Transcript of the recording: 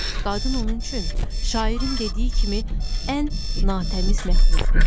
Qadın onun üçün şairin dediyi kimi ən natəmiz məxluqdur.